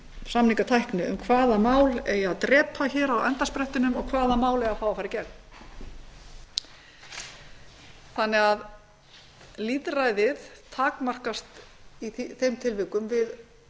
samningatækni um hvaða mál eigi að drepa á endasprettinum og hvaða mál eigi að fá að fara í gegn þannig að lítilræðið takmarkast í þeim tilvikum við